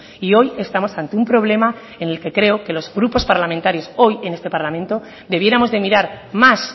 y hoy estamos ante un problema en el que creo que los grupos parlamentarios hoy en este parlamento debiéramos de mirar más